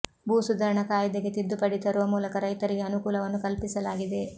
ಭೂ ಸುಧಾರಣಾ ಕಾಯಿದೆಗೆ ತಿದ್ದುಪಡಿ ತರುವ ಮೂಲಕ ರೈತರಿಗೆ ಅನುಕೂಲವನ್ನು ಕಲ್ಪಿಸಲಾಗಿದೆ